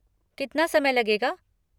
कितना समय लगेगा?